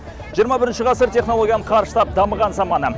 жиырма бірінші ғасыр технологияның қарыштап дамыған заманы